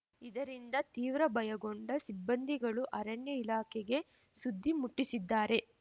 ಇದರಿಂದ ತೀವ್ರ ಬಯಗೊಂಡ ಸಿಬ್ಬಂದಿಗಳು ಅರಣ್ಯ ಇಲಾಖೆಗೆ ಸುದ್ದಿ ಮುಟ್ಟಿಸಿದ್ದಾರೆ